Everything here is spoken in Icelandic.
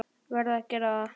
Verð að gera það.